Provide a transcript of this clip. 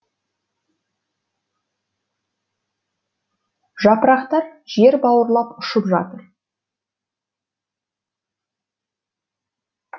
жапырақтар жер бауырлап ұшып жатыр